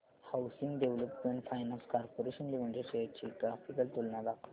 housing development finance corporation limited shares ची graphical तुलना दाखव